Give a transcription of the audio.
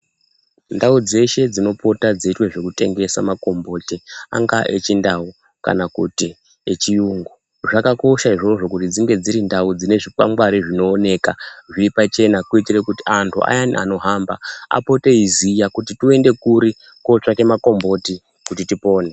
Ndau dzeshe dzinopota dzeita zvekutengesa makomboti angava echindau kana echirungu zvakakosha izvozvo kuti dzinge dziri ndau dzine zvikwangwari zvinooneka zviri pachena kuitira kuti antu ayani anohamba apote eiziya kuti tiende kuri kutsvake makomboti kuti tipone.